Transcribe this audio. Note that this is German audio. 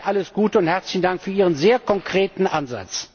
Alles Gute und herzlichen Dank für Ihren sehr konkreten Ansatz!